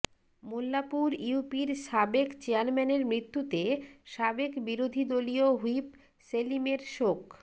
মোল্লাপুর ইউপির সাবেক চেয়ারম্যানের মৃত্যুতে সাবেক বিরোধীদলীয় হুইপ সেলিমের শোক